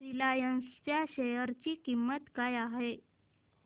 Reliance च्या share ची किंमत काय आहे